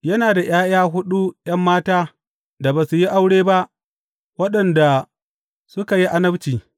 Yana da ’ya’ya huɗu ’yan mata da ba su yi aure ba, waɗanda suka yi annabci.